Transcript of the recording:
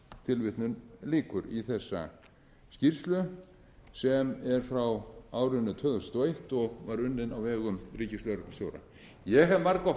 tilvitnun lýkur í þessa skýrslu sem er frá árinu tvö þúsund og eins og var unnin á vegum ríkislögreglustjóra ég hef margoft